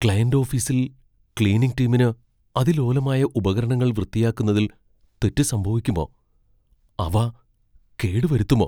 Client ഓഫീസിൽ cleaning ടീമിന് അതിലോലമായ ഉപകരണങ്ങൾ വൃത്തിയാക്കുന്നതിൽ തെറ്റ് സംഭവിക്കുമോ? അവ കേടുവരുത്തുമോ?